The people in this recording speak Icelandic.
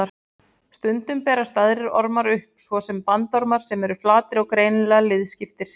Stundum berast aðrir ormar upp, svo sem bandormar sem eru flatir og greinilega liðskiptir.